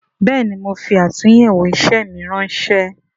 Bẹẹni, mo fi atunyewo isẹ mi ránsẹ́